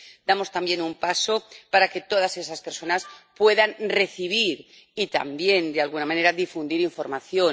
Damos también un paso para que todas esas personas puedan recibir y también, de alguna manera, difundir información